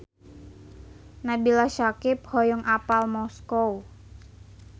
Nabila Syakieb hoyong apal Moskow